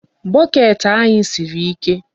Bucket anyị siri ike.